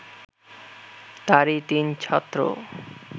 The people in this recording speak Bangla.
তারই তিন ছাত্র